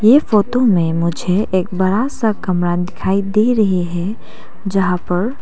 ये फोटो में मुझे एक बड़ा सा कमरा दिखाई दे रही है जहां पर--